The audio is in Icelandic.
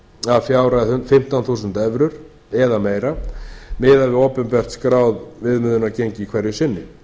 að fjárhæð fimmtán þúsund evrur eða meira miðað við opinbert skráð viðmiðunargengi hverju sinni